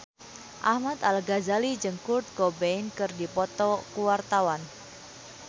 Ahmad Al-Ghazali jeung Kurt Cobain keur dipoto ku wartawan